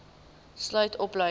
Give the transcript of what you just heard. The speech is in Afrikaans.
boov sluit opleiding